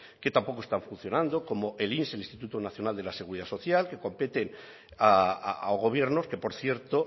que tampoco están funcionando como el inss el instituto nacional de la seguridad social que competen a gobiernos que por cierto